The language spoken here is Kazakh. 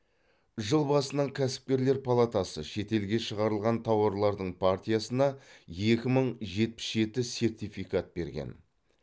жыл басынан кәсіпкерлер палатасы шетелге шығарылған тауарлардың партиясына екі мың жетпіс жеті сертификат берген